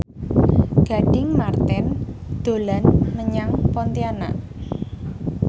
Gading Marten dolan menyang Pontianak